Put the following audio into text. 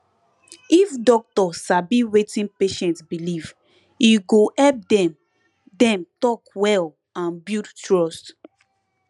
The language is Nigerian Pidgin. if doctor sabi wetin patient believe e go help dem dem talk well and build trust